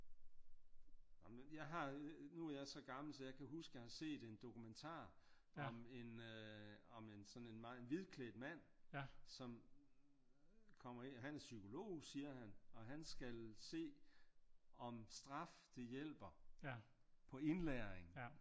Jeg har nu er jeg så gammel så jeg kan huske jeg har set en dokumentar om en øh om en sådan en hvidklædt mand som kommer ind han er psykolog siger han og han skal se om straf det hjælper på indlæring